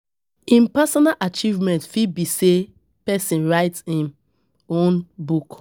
um Personal achievement fit be when person write im own book